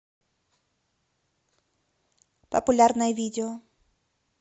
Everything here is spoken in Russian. популярное видео